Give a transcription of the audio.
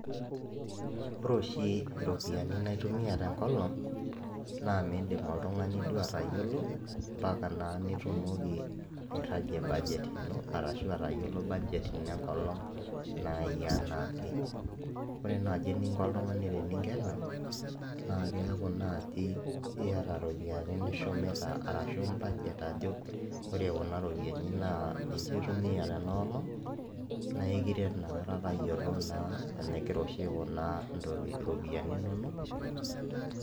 Ore oshi iropiani naitumia tenkolong naa mindim oltung'ani duo atayiolo  mpaka naa nitumoki airragie [cs?budget ino arashu atayiolo budget ino enkolong' nai anaake. Ore nai eninko oltung'ani teningena naakeaku naaji iata ropiani nishumita arashu imbajet ajo ore kuna ropiani naa ninche aitumia tenaolong' naaikiret nakata tayiolo naa enigira oshi aikunaa ntoki, iropiyani inonok.